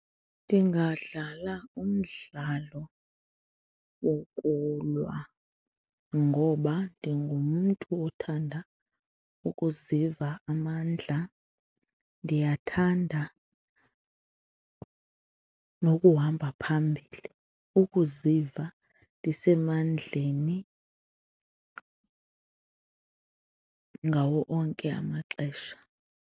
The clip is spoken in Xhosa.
Ndingadlala umdlalo wokulwa ngoba ndingumntu othanda ukuziva amandla, ndiyathanda nokuhamba phambili. Ukuziva ndisemandleni ngawo onke amaxesha.